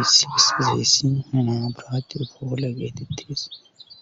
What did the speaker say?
Issi bisi zeyssi minomaburati efoole geetittidis